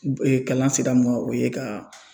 U kalan sira mu ka o ye ka